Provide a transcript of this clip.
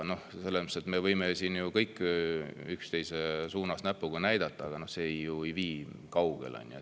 Me võime siin ju kõik üksteise suunas näpuga näidata, aga see ei vii kaugele.